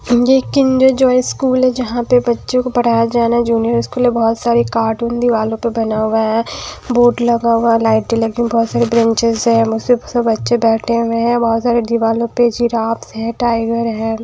ये Kinder Joy school है जहां पे बच्चों को पढ़ाया जाना जूनियर स्कूल है बहोत सारे कार्टून दीवालों पर बना हुआ है बोर्ड लगा हुआ लाइटे लगी हुई है बहुत सारी बैचेंस है ठिक से सब बच्चे बैठे हुए हैं बहुत सारे दीवालों पर की जिराफ है टाइगर है।